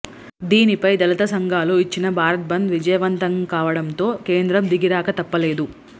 దీనిపై దళిత సంఘాలు ఇచ్చిన భారత్ బంద్ విజయవంతంకావడంతో కేంద్రం దిగిరాక తప్పలేదు